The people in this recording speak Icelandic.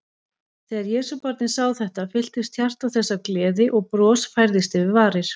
Þegar Jesúbarnið sá þetta, fylltist hjarta þess af gleði og bros færðist yfir varir.